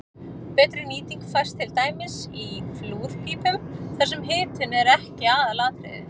betri nýting fæst til dæmis í flúrpípum þar sem hitun er ekki aðalatriðið